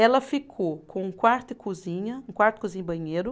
Ela ficou com um quarto e cozinha, um quarto, cozinha e banheiro.